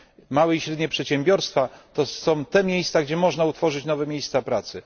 Małe i średnie przedsiębiorstwa to są te podmioty, w których można utworzyć nowe miejsca pracy.